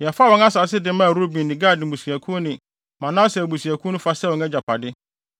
Yɛfaa wɔn asase de maa Ruben ne Gad mmusuakuw ne Manase abusuakuw no fa sɛ wɔn agyapade.